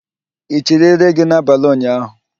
Ị chiri íré gị n'abalị unyahụ?